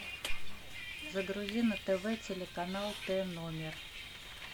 загрузи на тв телеканал т номер